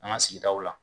An ka sigidaw la